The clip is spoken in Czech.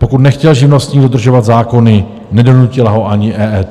Pokud nechtěl živnostník dodržovat zákony, nedonutila ho ani EET.